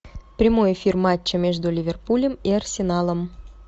прямой эфир матча между ливерпулем и арсеналом